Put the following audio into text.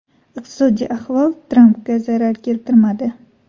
Iqtisodiy ahvol Trampga zarar keltirmadi.